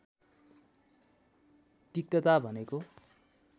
तिक्तता भनेको